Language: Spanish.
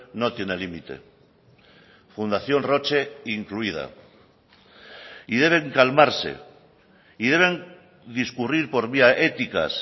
no tiene límite fundación roche incluida y deben calmarse y deben discurrir por vía éticas